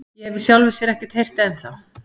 Ég hef í sjálfu sér ekkert heyrt ennþá.